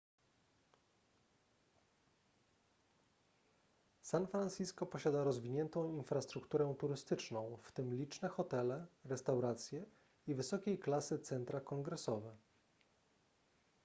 san francisco posiada rozwiniętą infrastrukturę turystyczną w tym liczne hotele restauracje i wysokiej klasy centra kongresowe